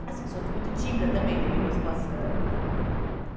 Assim, sou muito tímida também, uhum, dependendo da situação e tal.